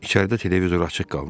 İçəridə televizor açıq qalmışdı.